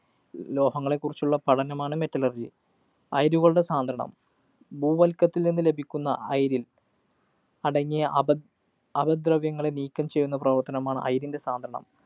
ലോഹങ്ങളെ കുറിച്ചുള്ള പഠനമാണ് metallurgy. അയിരുകളുടെ സാന്ദ്രണം. ഭൂവല്‍ക്കത്തില്‍ നിന്ന് ലഭിക്കുന്ന അയിരില്‍ അടങ്ങിയ അപ അപദ്രവ്യങ്ങളെ നീക്കം ചെയ്യുന്ന പ്രവര്‍ത്തനമാണ് അയിരിൻ്റെ സാന്ദ്രണം.